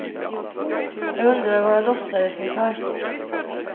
Jag undrade vad jag låtsades inför vem.